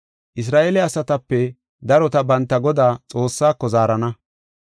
Isra7eele asatape darota banta Godaa, Xoossaako zaarana.